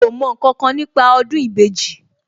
Mi ò mọ ǹkankan nípa ọdún ìbejì, òkè